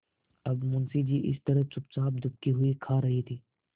अब मुंशी जी इस तरह चुपचाप दुबके हुए खा रहे थे